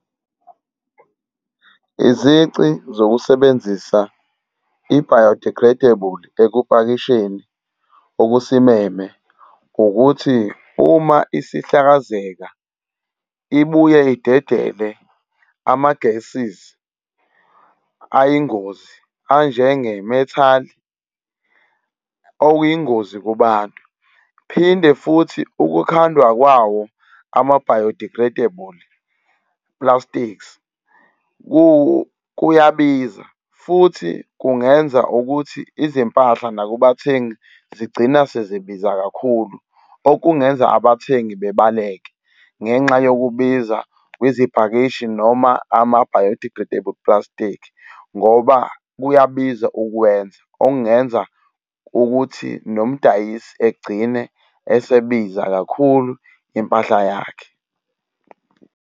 Izici zokusebenzisa i-biodegradable ekupakisheni okusimeme ukuthi uma isihlakazeka ibuye idedele am-gases ayingozi anjenge methane okuyingozi kubantu. Phinde futhi ukuthandwa kwawo ama-biodegradable plastics kuyabiza futhi kungenza ukuthi izimpahla nakubathengi zigcina sezibiza kakhulu okungenza abathengi bebaluleke ngenxa yokubiza kwezipakishi noma ama-biodegradable plastic, ngoba kuyabiza ukuwenza okungenza ukuthi nomdayisi egcine esebiza kakhulu impahla yakhe.